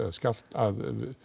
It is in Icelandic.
að